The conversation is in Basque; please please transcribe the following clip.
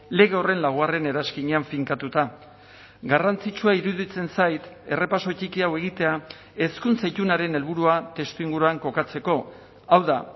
lege horren laugarren eranskinean finkatuta garrantzitsua iruditzen zait errepaso txiki hau egitea hezkuntza itunaren helburua testuinguruan kokatzeko hau da